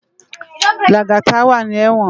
Lagata wá ni èwòn